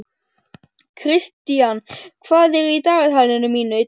Kristian, hvað er í dagatalinu mínu í dag?